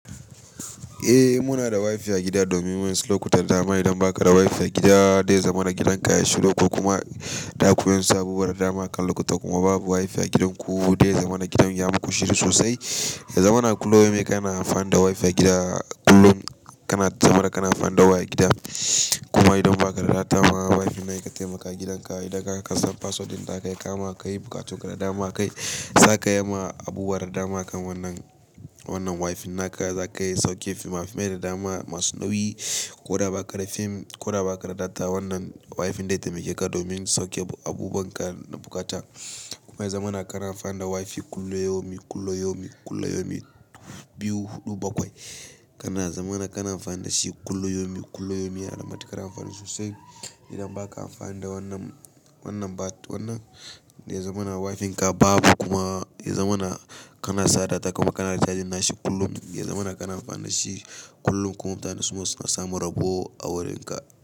Eh muna da wifi a gida domin wasu lokutan dama idan baka da wifi a gida zai zama na gidan ka yayi shiru ko kuma da ku yin sabuwar dama kan lokuta kuma babu wifi a gidanku dai zama na gidan ya muku shiru sosai. Ya zamana kullum yau me ka na amfani da wifi a gida kullum kana saboda kana amfani da waya a gida kuma idan baka da data maa wifi nan yakan taimaka gidan ka idan ka san password ɗin ta kai kama ka yi bukatun da dama kai zaka yi ma abubuwa da dama kan wannan, wannan wifi naka zaka iya sauke fimafimai da dama masu nauyi. Ko da ba ka da fim ko da ba ka da data wannan wifin dai taimake ka domin sauke abubuwan ka na bukata. Kuma ya zamana kana amfani da wifi kullum yau min kullum yau min kullum yau me biyu huɗu bakwai kana zamana kana amfani da shi kullum yau me kullum yau me yana da matuƙar amfani sosai. Idan baka amfani da wannan, wannan bat wannan daya zamana wifinka babu kuma ya zamana kana sa data kuma kana cajin nashi kullum ya zamana kana amfani da shi kullum. Kuma mutane suma suna samun rabo a wurin ka.